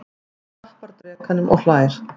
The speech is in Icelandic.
Hann klappar drekanum og hlær.